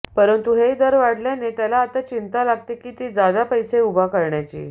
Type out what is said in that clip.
परंतु हे दर वाढल्याने त्याला आता चिंता लागते ती जादा पैसा उभा करण्याची